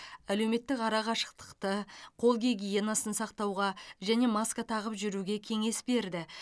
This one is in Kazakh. әлеуметтік арақашықтықты қол гигиенасын сақтауға және маска тағып жүруге кеңес берді